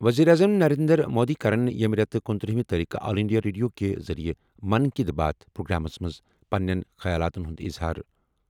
ؤزیٖرِ اعظم نَرینٛدر مودی کَرَن ییٚمہِ رٮ۪تہٕ 29 تٲریٖخہٕ آل اِنٛڈیا ریڈیو کہِ ذٔریعہٕ 'من کی بات' پرٛوگرامس منٛز پَنٕنہِ خیالاتن ہُند اظہار۔